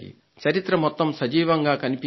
చరిత్ర మొత్తం సజీవంగా కనిపించింది